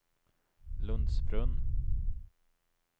Lundsbrunn